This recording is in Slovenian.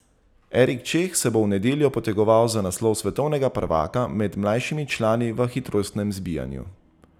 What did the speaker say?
Erik Čeh se bo v nedeljo potegoval za naslov svetovnega prvaka med mlajšimi člani v hitrostnem zbijanju.